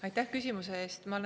Aitäh küsimuse eest!